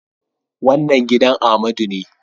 Wannan gidan Amadu ne